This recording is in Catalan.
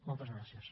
moltes gràcies